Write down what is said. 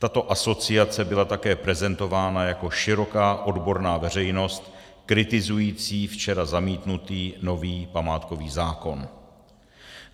Tato asociace byla také prezentována jako široká odborná veřejnost kritizující včera zamítnutý nový památkový zákon.